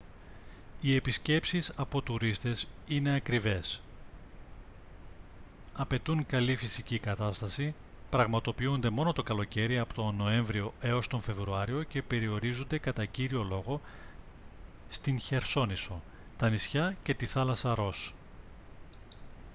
οι επισκέψεις από τουρίστες είναι ακριβές απαιτούν καλή φυσική κατάσταση πραγματοποιούνται μόνο το καλοκαίρι από τον νοέμβριο έως τον φεβρουάριο και περιορίζονται κατά κύριο λόγο στη χερσόνησο τα νησιά και τη θάλασσα ρος